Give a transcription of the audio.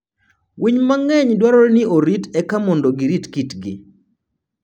Winy mang'eny dwarore ni orit eka mondo girit kitgi.